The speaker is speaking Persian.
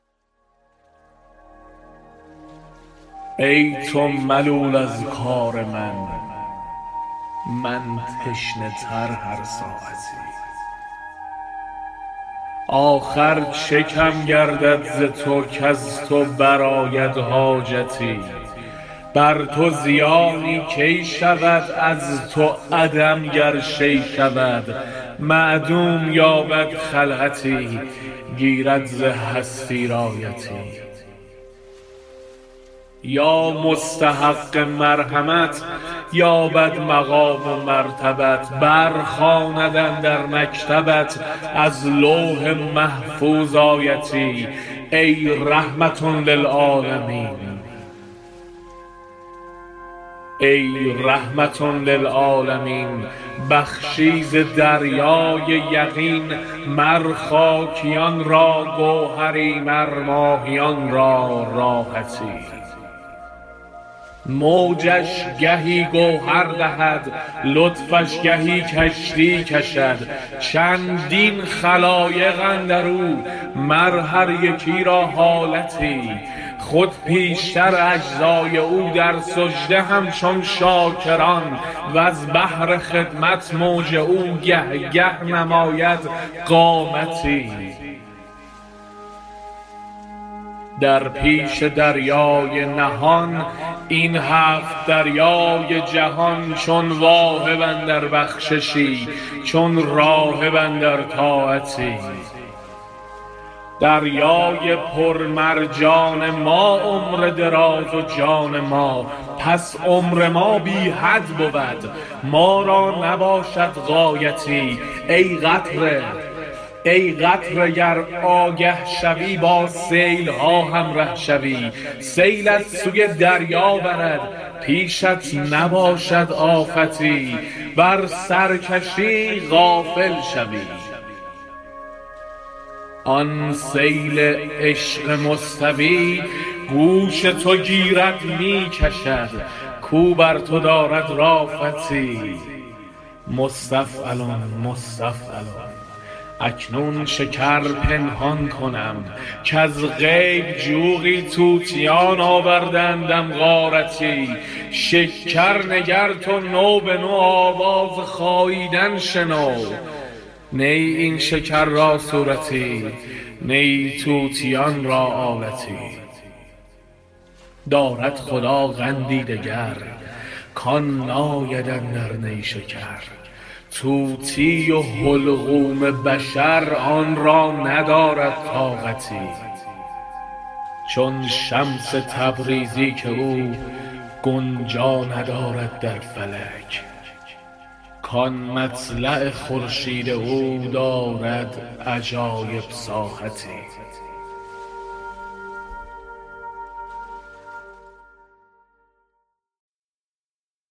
ای تو ملول از کار من من تشنه تر هر ساعتی آخر چه کم گردد ز تو کز تو برآید حاجتی بر تو زیانی کی شود از تو عدم گر شیء شود معدوم یابد خلعتی گیرد ز هستی رایتی یا مستحق مرحمت یابد مقام و مرتبت برخواند اندر مکتبت از لوح محفوظ آیتی ای رحمة للعالمین بخشی ز دریای یقین مر خاکیان را گوهر ی مر ماهیان را راحتی موجش گهی گوهر دهد لطفش گهی کشتی کشد چندین خلایق اندر او مر هر یکی را حالتی خود پیشتر اجزا ی او در سجده همچون شاکر ان وز بهر خدمت موج او گه گه نماید قامتی در پیش دریای نهان این هفت دریای جهان چون واهب اندر بخششی چون راهب اندر طاعتی دریای پر مرجان ما عمر دراز و جان ما پس عمر ما بی حد بود ما را نباشد غایتی ای قطره گر آگه شوی با سیل ها همره شوی سیلت سوی دریا برد پیشت نباشد آفتی ور سرکشی غافل شوی آن سیل عشق مستوی گوش تو گیرد می کشد کاو بر تو دارد رافتی مستفعلن مستفعلن اکنون شکر پنهان کنم کز غیب جوقی طوطیان آورده اندم غارتی شکر نگر تو نو به نو آواز خاییدن شنو نی این شکر را صورتی نی طوطیان را آلتی دارد خدا قندی دگر کان ناید اندر نیشکر طوطی و حلقوم بشر آن را ندارد طاقتی چون شمس تبریزی که او گنجا ندارد در فلک کان مطلع خورشید او دارد عجایب ساحتی